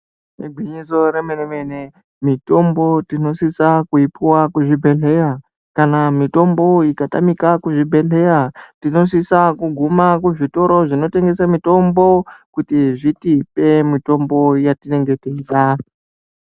Igwinyiso remene-mene, mitombo tinosisa kuipiwa kuzvibhedhlera kana mitombo ikatamika kuzvibhedhlera tinosisa kuguma kuzvitoro zvinotengesa mitombo kuti zvitipe mitombo yetinenge teida.